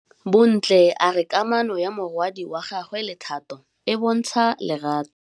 Bontle a re kamanô ya morwadi wa gagwe le Thato e bontsha lerato.